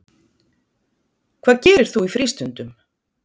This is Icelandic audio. Hvað gerir þú í frístundum?